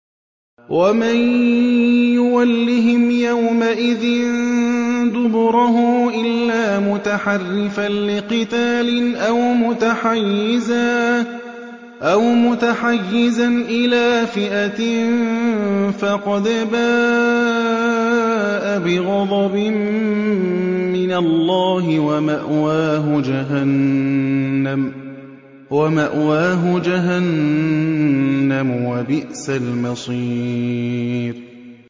وَمَن يُوَلِّهِمْ يَوْمَئِذٍ دُبُرَهُ إِلَّا مُتَحَرِّفًا لِّقِتَالٍ أَوْ مُتَحَيِّزًا إِلَىٰ فِئَةٍ فَقَدْ بَاءَ بِغَضَبٍ مِّنَ اللَّهِ وَمَأْوَاهُ جَهَنَّمُ ۖ وَبِئْسَ الْمَصِيرُ